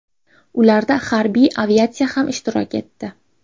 Ularda harbiy aviatsiya ham ishtirok etdi.